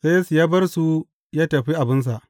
Sai Yesu ya bar su ya tafi abinsa.